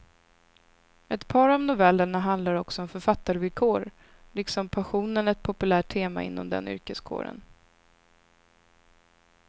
Ett par av novellerna handlar också om författarvillkor, liksom passionen ett populärt tema inom den yrkeskåren.